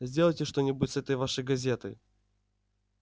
сделайте что-нибудь с этой вашей газетой